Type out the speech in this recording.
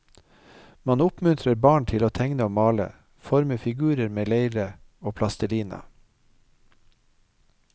Man oppmuntrer barn til å tegne og male, forme figurer med leire og plastelina.